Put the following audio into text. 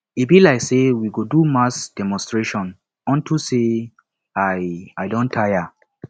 e be like say we go do mass demonstration unto say i i don tire